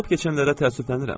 Olub-keçənlərə təəssüflənirəm.